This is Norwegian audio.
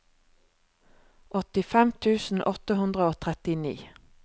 åttifem tusen åtte hundre og trettini